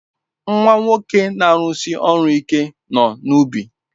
Nwa nwoke na-arụsi ọrụ ike nọ n'ubi.